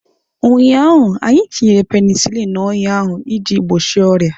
Ụnyaahụ, anyị tinyere penisilini n'ọnya ahụ iji gbochie ọrịa.